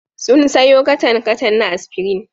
Sun sayo katan-katan na Aspirin.